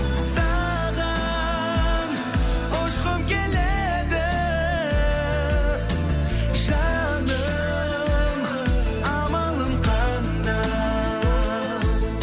саған ұшқым келеді жаным амалым қандай амалым қандай